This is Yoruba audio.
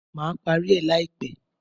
Má parí rẹ̀ láìpẹ́.